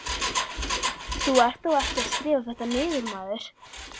Þú ert þó ekki að skrifa þetta niður, maður!